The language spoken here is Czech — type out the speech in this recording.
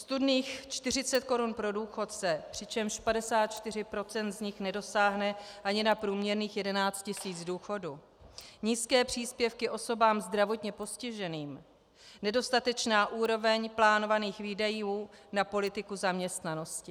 Ostudných 40 korun pro důchodce, přičemž 54 % z nich nedosáhne ani na průměrných 11 tisíc důchodu, nízké příspěvky osobám zdravotně postiženým, nedostatečná úroveň plánovaných výdajů na politiku zaměstnanosti.